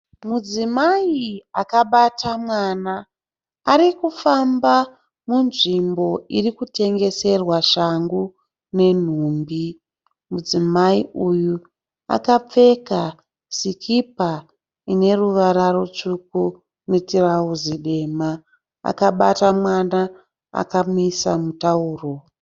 Mudzimai akabata mwana, arikufamba munzvimbo irikutengeserwa shangu nenhumbi. Mudzimai uyu akapfeka sikipa ineruvara rutsvuku netirauzi dema. Akabata mwana akamuisa mutauro.